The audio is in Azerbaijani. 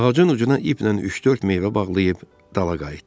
Ağacın ucuna iplə üç-dörd meyvə bağlayıb dala qayıtdı.